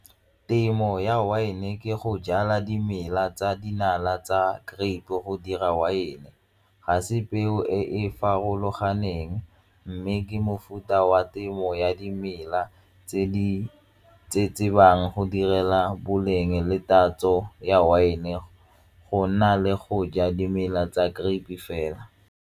Temo ya wine ke go jala dimela tsa dinala tsa grape go dira wine, ga se peo e e farologaneng mme ke mofuta wa temo ya dimela tse di tse tsebang go direla boleng le tatso ya wine go nna le go ja dimela tsa grape fela.